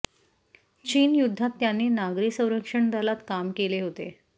चीन युद्धात त्यांनी नागरी संरक्षण दलात काम केले होते